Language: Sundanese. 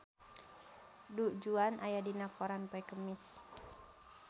Du Juan aya dina koran poe Kemis